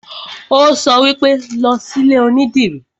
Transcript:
Ó sọ wípé, 'Lọ sí ilé onídìrí'